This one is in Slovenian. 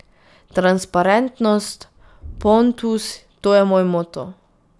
Transparentnost, Pontus, to je moj moto.